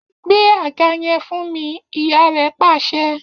Gbé àga yẹn fún mi!, ìyá rẹ̀ pàṣẹ